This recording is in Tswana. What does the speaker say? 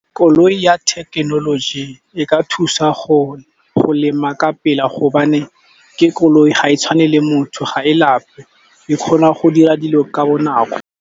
Koloi ya thekenoloji e ka thusa go lema ka pela gobane ke koloi ga e tshwane le motho ga e lape, e kgona go dira dilo ka bonako.